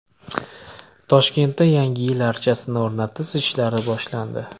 Toshkentda Yangi yil archasini o‘rnatish ishlari boshlandi .